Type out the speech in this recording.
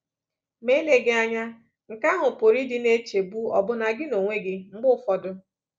Ma eleghị anya, nke ahụ pụrụ ịdị na-echegbu ọbụna gị onwe gị mgbe ụfọdụ.